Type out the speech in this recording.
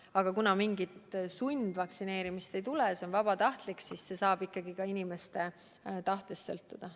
Ent kuna mingit sundvaktsineerimist ei tule, see on vabatahtlik, siis palju sõltub ikkagi ka inimeste tahtest.